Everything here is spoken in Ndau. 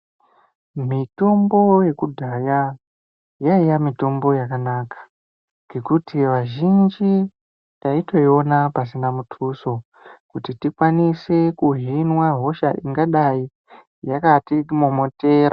Mitombo yekudhaya yaiva mitombo yakanaka, ngekuti vazhinji taitoiona pasina muthuso. Kuti tikwanise kuhinwa hosha ingadai yakatimomotera.